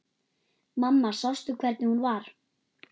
Mamma sástu hvernig hún var?